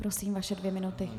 Prosím, vaše dvě minuty.